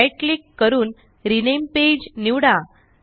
right click करून rename page निवडा